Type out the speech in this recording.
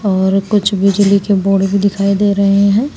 और कुछ बिजली के बोर्ड भी दिखाई दे रहे हैं।